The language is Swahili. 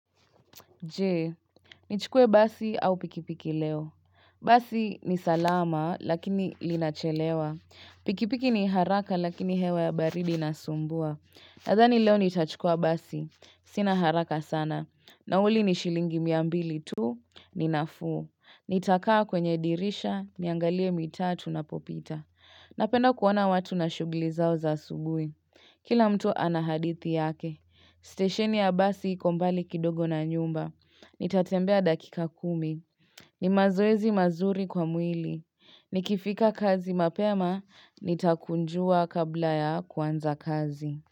Je, nichukue basi au pikipiki leo. Basi ni salama lakini linachelewa. Pikipiki ni haraka lakini hewa ya baridi nasumbua. Nadhani leo nitachukua basi. Sina haraka sana. Nauli ni shilingi mia mbili tuu, ni nafuu. Nitakaa kwenye dirisha niangalie mitaa tunapopita. Napenda kuona watu na shugli zao za asubui Kila mtu ana hadithi yake, stesheni ya basi iko mbali kidogo na nyumba. Nitatembea dakika kumi. Ni mazoezi mazuri kwa mwili. Nikifika kazi mapema, nitakunjua kabla ya kuanza kazi.